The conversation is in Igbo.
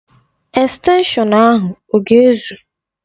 Estenshọn ahụ ọ ga ezụ?